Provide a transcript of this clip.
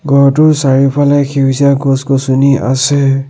ঘৰটোৰ চাৰিওফালে সেউজীয়া গছ গছনি আছে।